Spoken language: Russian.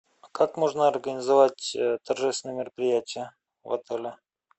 как можно организовать торжественное мероприятие в отеле